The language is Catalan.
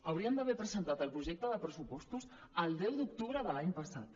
haurien d’haver presentat el projecte de pressupostos el deu d’octubre de l’any passat